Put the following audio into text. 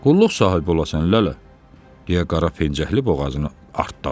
Qulluq sahibi olasan, Lələ, deyə qara pencəkli boğazını artdadı.